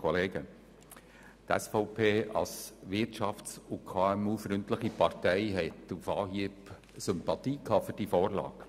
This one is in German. Die SVP als wirtschafts- und KMU-freundliche Partei hatte auf Anhieb Sympathien für diesen Vorstoss.